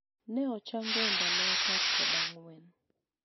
ne ochango e ndalo apar kod ang'wen